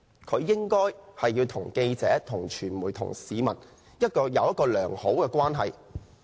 他應該要與記者、傳媒和市民保持良好關係。